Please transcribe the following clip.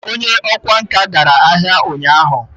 onye okwá nkà gara ahia unyahu